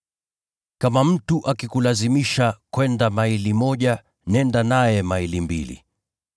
Kama mtu akikulazimisha kwenda maili moja, nenda naye maili mbili.